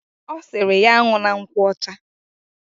Osiri ya an̄una nkwocha.